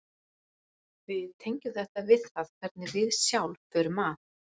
Við tengjum þetta við það hvernig við sjálf förum að.